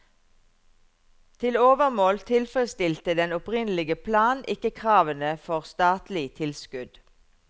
Til overmål tilfredsstilte den opprinnelige plan ikke kravene for statlig tilskudd.